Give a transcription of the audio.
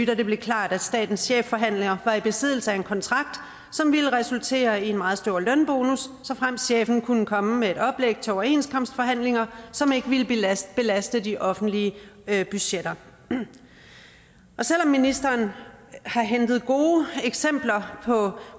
da det blev klart at statens chefforhandler var i besiddelse af en kontrakt som ville resultere i en meget stor lønbonus såfremt chefen kunne komme med et oplæg til overenskomstforhandlinger som ikke ville belaste belaste de offentlige budgetter selv om ministeren har hentet gode eksempler på